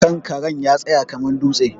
Kankaren ya tsaya kamar dutse.